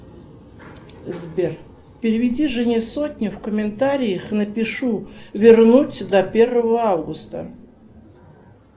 сбер переведи жене сотню в комментариях напишу вернуть до первого августа